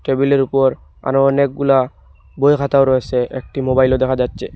টেবিলের ওপর আরো অনেকগুলা বইখাতাও রয়েসে একটি মোবাইলও দেখা যাচ্ছে।